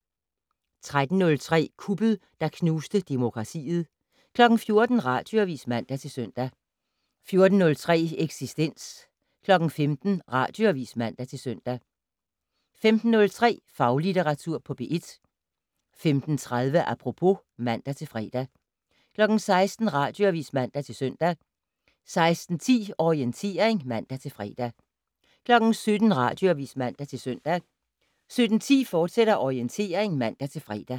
13:03: Kuppet, der knuste demokratiet 14:00: Radioavis (man-søn) 14:03: Eksistens 15:00: Radioavis (man-søn) 15:03: Faglitteratur på P1 15:30: Apropos (man-fre) 16:00: Radioavis (man-søn) 16:10: Orientering (man-fre) 17:00: Radioavis (man-søn) 17:10: Orientering, fortsat (man-fre)